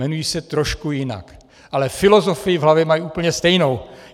Jmenují se trošku jinak, ale filozofii v hlavě mají úplně stejnou!